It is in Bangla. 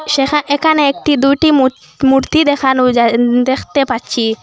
সেখা এখানে একটি দুটি মুর মূর্তি দেখানো যাইন দেখতে পাচ্ছি।